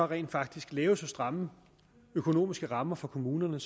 rent faktisk lave så stramme økonomiske rammer for kommunerne